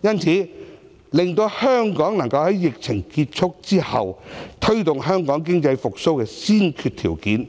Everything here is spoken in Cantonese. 因此，令香港能夠在疫情結束後，推動經濟復蘇的先決條件